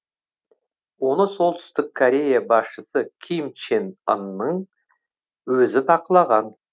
оны солтүстік корея басшысы ким чен ынның өзі бақылаған